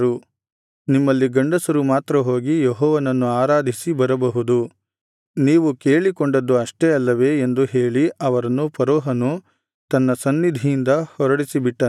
ನಿಮ್ಮಲ್ಲಿ ಗಂಡಸರು ಮಾತ್ರ ಹೋಗಿ ಯೆಹೋವನನ್ನು ಆರಾಧಿಸಿ ಬರಬಹುದು ನೀವು ಕೇಳಿಕೊಂಡದ್ದು ಅಷ್ಟೇ ಅಲ್ಲವೇ ಎಂದು ಹೇಳಿ ಅವರನ್ನು ಫರೋಹನು ತನ್ನ ಸನ್ನಿಧಿಯಿಂದ ಹೊರಡಿಸಿಬಿಟ್ಟನು